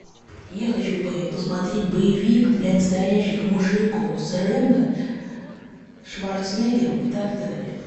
я хочу посмотреть боевик для настоящих мужиков с рэмбо шварцнеггером и так далее